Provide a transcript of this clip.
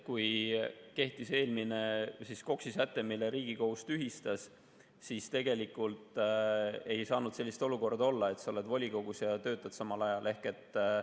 Kui kehtis eelmine KOKS-i säte, mille Riigikohus tühistas, siis tegelikult ei saanud olla sellist olukorda, et sa oled volikogus ja samal ajal töötad.